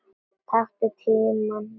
Taktu tímann Lilla!